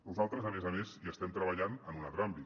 nosaltres a més a més hi estem treballant en un altre àmbit